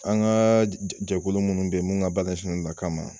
An ka jɛkulu munnu bɛ ye mun ka ba ɲɛsilen no a kama.